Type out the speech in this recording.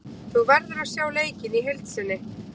Þú verður að sjá leikinn í heild sinni.